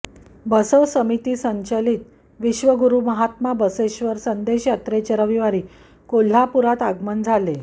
बसव समिती संचलित विश्वगुरू महात्मा बसवेश्वर संदेश यात्रेचे रविवारी कोल्हापूरात आगमन झाले